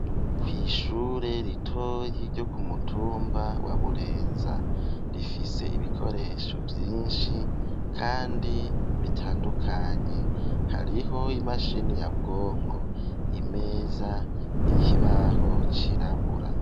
Kw'ishure ritoyi ryo ku mutumba wa Burenza. Rifise ibikoresho vyinshi kandi bitandukanye, hariho imashini nyabwonko, imeza, ikibaho cirabura.